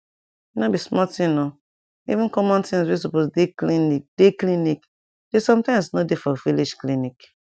nor be small thing o even common things wey supose dey clinic dey clinic dey sometimes nor dey for village clinic